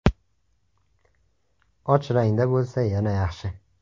Och rangda bo‘lsa, yana yaxshi.